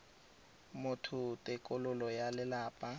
motho ke tokololo ya lelapa